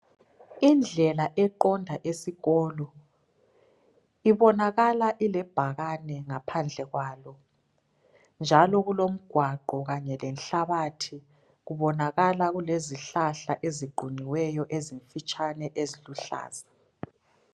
Indlela eqonda esikolo . Ibonakala ilebhakane ngaphandle kwalo. Njalo kulomgwaqo kanye lenhlabathi . Kubonakala kulezihlahla eziqunyiweyo ezimfitshane eziluhlaza.